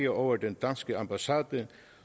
over den danske ambassade